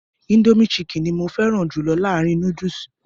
Indomie chicken ni mo fẹ́ràn jù láàárín núdùsù.